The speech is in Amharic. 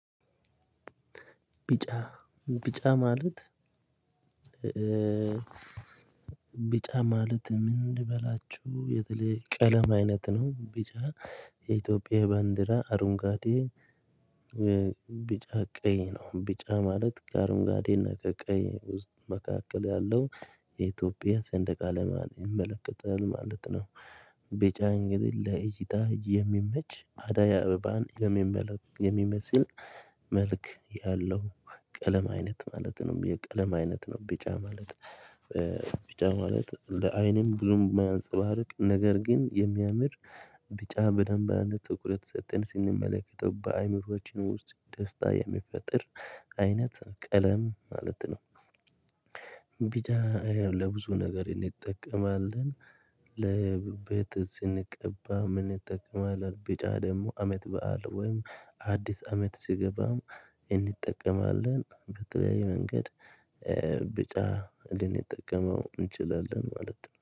ቢጫ ቢጫ ማለት ቢጫ ማለት። ምን ልበላችሁ የተለየ ቀለም አይነት ነው? ቢጫ የኢትዮጵያ ባንዲራ አረንጓዴ ቢጫ ቀይ ነው። ቢጫ ማለት ከአረንጓዴ እና ከቀይ ውስጥ መካከል ያለው የኢትዮጵያ ስንደቅ አላማ ይመለከታል ማለት ነው። ቢጫ እንግዲህ ለእይታ የሚመች አደይ አበባን የሚመለ የሚመስል መልክ ያለው ቀለም አይነት ማለት ነው። የቀለም አይነት ነው። ቢጫ ማለት ቢጫ ማለት ለአይንም ብዙም ማያንጸባርቅ ነገር ግን የሚያምር ቢጫ በደንብ አንድ ትኩረት ሰጠን ስንመለከተው በአእምሮአችን ውስጥ ደስታ የሚፈጥር አይነት ቀለም ማለት ነው። ቢጫ ለብዙ ነገር እንጠቀማለን። ለቤት ስንቀባ እንጠቀማለን ቢጫ ደግሞ አመት በዓል ወይም አዲስ አመት ስገባም እንጠቀማለን በተለያየ መንገድ። ብጫ ልንጠቀመው እንችላለን ማለት ነው